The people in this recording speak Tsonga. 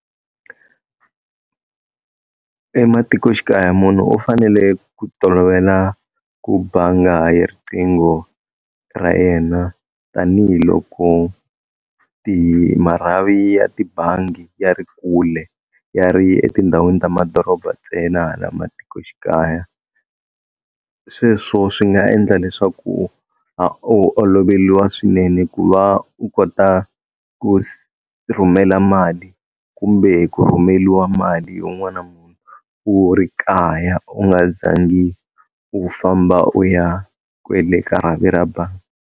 Ematikoxikaya munhu u fanele ku tolovela ku banga ha yi riqingho ra yena tanihiloko marhavi ya tibangi ya ri kule ya ri etindhawini ta madoroba ntsena hala matikoxikaya, sweswo swi nga endla leswaku a oloveliwa swinene ku va u kota ku rhumela mali kumbe ku rhumeliwa mali yo n'wana munhu u ri kaya u nga za ngi u famba u ya kwele ka rhavi ra bangi.